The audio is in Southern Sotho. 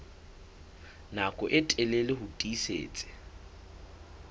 nako e telele ho tiisitse